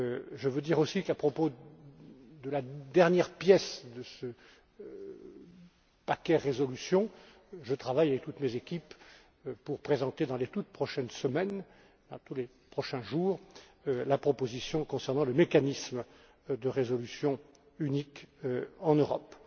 Je veux dire aussi qu'à propos de la dernière pièce de ce paquet résolution, je travaille avec toutes mes équipes pour présenter dans les toutes prochaines semaines, dans les prochains jours, la proposition concernant le mécanisme de résolution unique en Europe.